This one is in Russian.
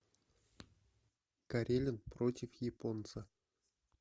карелин против японца